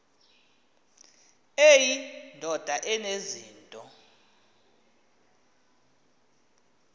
eyi ndoda enezinto